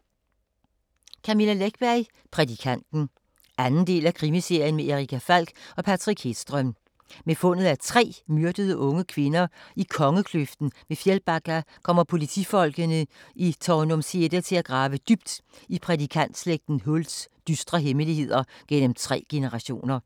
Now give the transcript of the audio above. Läckberg, Camilla: Prædikanten 2. del af Krimiserien med Erica Falck og Patrik Hedström. Med fundet af tre myrdede unge kvinder i Kongekløften ved Fjällbacka kommer politifolkene i Tanumshede til at grave dybt i prædikantslægten Hults dystre hemmeligheder gennem tre generationer.